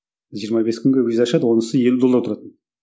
жиырма бес күнге виза ашады онысы елу доллар тұратын